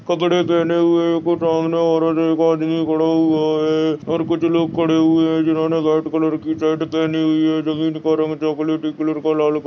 कपड़े पहने हुए है कुछ सामने औरत और एक आदमी खड़ा हुआ है और कुछ लोग खड़े हुए है जिन्होंने रेड कलर की शर्ट पहनी हुई है जमींन का रंग चॉकलेटी कलर का लाल कलर--